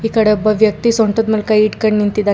ಈ ಕಡೆ ಒಬ್ಬ ವ್ಯಕ್ತಿ ಸೊಂಟದ್ ಮೇಲೆ ಕೈ ಇಟ್ಕಂಡ್ ನಿಂತಿದಾನೆ ಮುನ್--